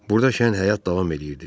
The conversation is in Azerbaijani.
Burada şən həyat davam eləyirdi.